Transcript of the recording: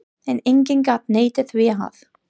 En enginn gat neitað því að